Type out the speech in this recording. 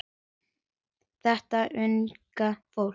Þetta unga fólk.